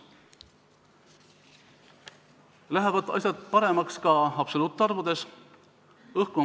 Asjad lähevad paremaks ka absoluutarvudes vaadates.